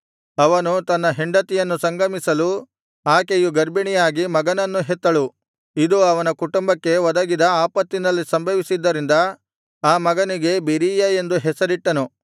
ಅವನು ತನ್ನ ಹೆಂಡತಿಯನ್ನು ಸಂಗಮಿಸಲು ಆಕೆಯು ಗರ್ಭಿಣಿಯಾಗಿ ಮಗನನ್ನು ಹೆತ್ತಳು ಇದು ಅವನ ಕುಟುಂಬಕ್ಕೆ ಒದಗಿದ ಆಪತ್ತಿನಲ್ಲಿ ಸಂಭವಿಸಿದ್ದರಿಂದ ಆ ಮಗನಿಗೆ ಬೆರೀಯ ಎಂದು ಹೆಸರಿಟ್ಟನು